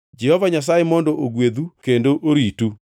“ ‘Jehova Nyasaye mondo ogwedhu kendo oritu;